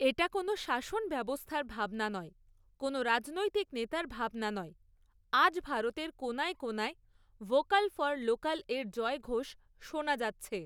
এটা কোনও শাসন ব্যবস্থার ভাবনা নয়, কোনও রাজনৈতিক নেতার ভাবনা নয়, আজ ভারতের কোণায় কোণায় ভোকাল ফর লোকালের জয়ঘোষ শোনা যাচ্ছে।